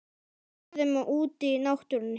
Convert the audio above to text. Í görðum og úti í náttúrunni.